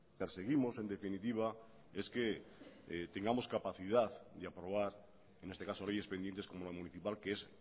perseguimos en definitiva es que tengamos capacidad de aprobar en este caso leyes pendientes como la municipal que es